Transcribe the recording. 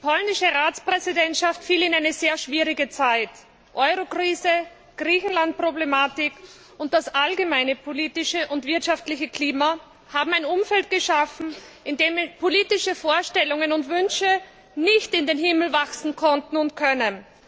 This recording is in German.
Die polnische Ratspräsidentschaft fiel in eine sehr schwierige Zeit. Eurokrise, Griechenlandproblematik und das allgemeine politische und wirtschaftliche Klima haben ein Umfeld geschaffen, in dem politische Vorstellungen und Wünsche nicht in den Himmel wachsen konnten und können.